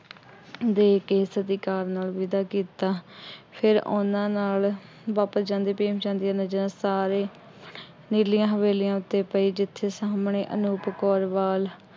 ਦੇ ਕੇ ਸਤਿਕਾਰ ਨਾਲ ਵਿਦਾ ਕੀਤਾ। ਫੇਰ ਉਹਨਾ ਨਾਲ ਬਾਬਾ ਚੰਦ ਅਤੇ ਭੀਮ ਚੰਦ ਦੀਆਂ ਨਜ਼ਰਾਂ ਸਾਰੇ ਨੀਲੀਆਂ ਹਵੇਲੀਆਂ ਉੱਤੇ ਪਈ ਜਿੱਥੇ ਸਾਹਮਣੇ ਅਨੂਪ ਕੌਰ ਵਾਲ